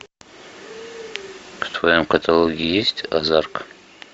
в твоем каталоге есть азарк